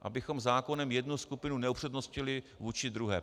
Abychom zákonem jednu skupinu neupřednostnili vůči druhé.